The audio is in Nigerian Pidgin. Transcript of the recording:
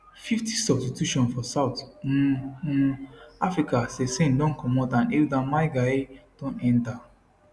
50 substituiton for south um um africa cesane don comot and hildah maigaia don enta